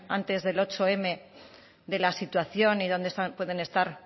antes del zortzim de la situación y dónde pueden estar